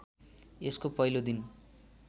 यसको पहिलो दिन